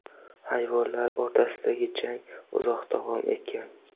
Hayvonlar o‘rtasidagi jang uzoq davom etgan.